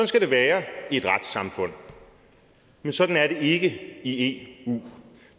skal det være i et retssamfund men sådan er det ikke i i eu